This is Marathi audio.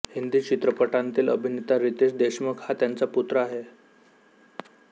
हिंदी चित्रपटांतील अभिनेता रितेश देशमुख हा त्यांचा पुत्र आहे